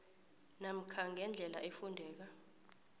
namkha ngendlela efundeka